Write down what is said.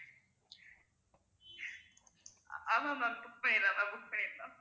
ஆமா ma'am book பண்ணிடலாம் book பண்ணிடலாம்